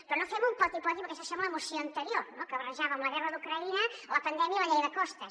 però no fem un poti poti perquè això sembla la moció anterior no que barrejava amb la guerra d’ucraïna la pandèmia i la llei de costes